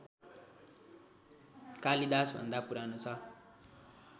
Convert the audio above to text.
कालिदासभन्दा पुरानो छ